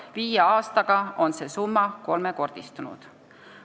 Viie aastaga on see summa kolmekordistunud.